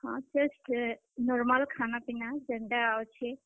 ହଁ, normal ଖାନା, ପିନା ଯେନ୍ ଟା ଅଛେ।